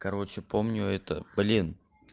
короче помню это блин